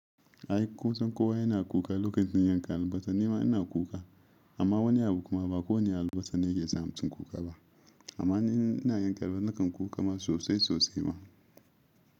Ai kusan kowa yana kuka lokacin yankan albasa. Ni ma ina kuka. Amma wani abu kuma ba kowane albasa ne ke sa mutum kuka ba. Amma ni ina yanka wa nakan kuka sosai sosai ma.